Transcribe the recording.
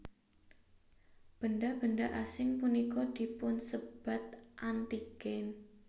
Benda benda asing punika dipunsebat antigen